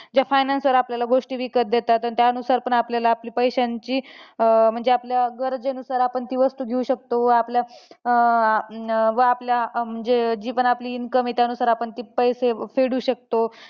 जे financier आपल्याला गोष्टी विकत देतात, तर त्यानुसार पण आपल्याला आपली पैश्यांची अं म्हणजे आपल्या गरजेनुसार आपण ती वस्तू घेऊ शकतो. व आपल्या अं व आपल्या म्हणजे जी पण आपली income आहे, त्यानुसार आपण पैसे फेडू शकतो.